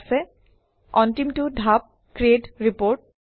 ঠিক আছে অন্তিমটো ধাপ - ক্ৰিট Report